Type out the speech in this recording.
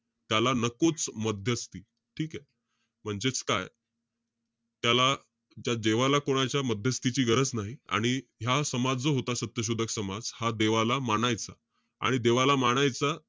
त्याला नकोच मध्यस्थी. ठीके? म्हणजेच काय? त्याला, त्या देवाला कोणाच्या, मध्यस्थीची गरज नाही. आणि हा समाज जो होता, सत्यशोधक समाज, हा देवाला मानायचा. आणि देवाला मानायचा,